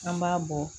An b'a bɔ